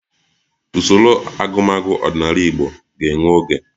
Usoro agụmagụ ọdịnala Igbo ga-ewe oge